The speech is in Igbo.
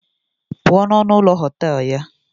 Apụọ n'ọnụ ụlọ họtel ya!